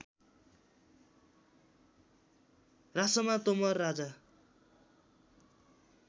रासोमा Tomar Raja